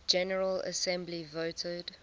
general assembly voted